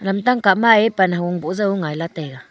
lamtang kah ma ye pan hagung boh jau ngaila taiga.